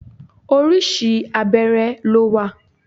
Orísìí abẹ́rẹ́ ló wà.